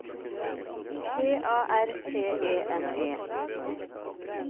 P A R T E N E